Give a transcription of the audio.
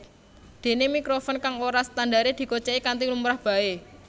Déné mikrofon kang ora ana standaré digocèki kanthi lumrah baé